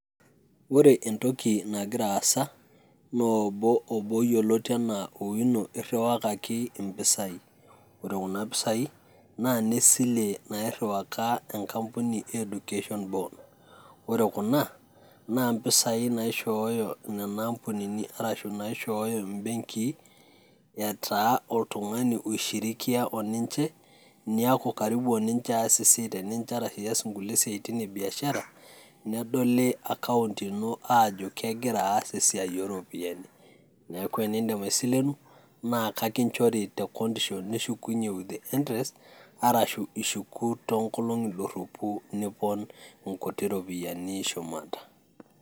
Ore entoki nagira aasa, naa obo, obo yoloti anaa Owino eiriwakaki impisai. Ore kuna pisai naa ine silie nairiwaka enkampuni e Education Board, ore kuna, naa impisai naishooyo nena ampunini arashu naishooyo imbenkii etaa oltung'ani oishirikia oninche, niaku karibu oninche aas esiai oninche arashu ias inkulie siatin ebiashara, nedoli account ino ajo kegira aas esiai o ropiani. Neaku te nindim aisilenu, naa kekinchori tecondition nishukunye with interest arashu ishuku too too nkolong'i doropu nipon inkuti ropiani shumata.